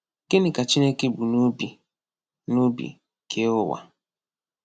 Gịnị ka Chineke bu n’obi n’obi kee ụwa?